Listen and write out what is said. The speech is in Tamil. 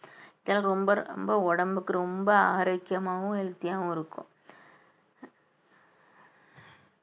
எனக்கு ரொம்ப ரொம்ப உடம்புக்கு ரொம்ப ஆரோக்கியமாவும் healthy ஆவும் இருக்கும்